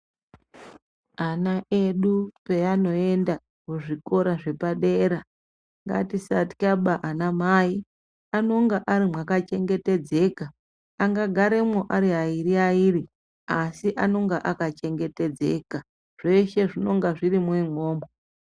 Ana edu panoenda kuzvikora zvepadera ngatisatyaba ana mai anonga Ari makachengetedzeka anga garamo Ari vairi vairi asi anonga akachengetedzeka zveshe zvinonga zviri imwo imwomwo.